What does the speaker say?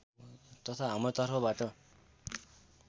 तथा हाम्रो तर्फबाट